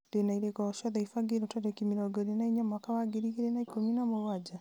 ndĩ na irĩko o ciothe ibangĩirwo tarĩki mĩrongo ĩrĩ na inya mwaka wa ngiri igĩrĩ na ikũmi na mũgwanja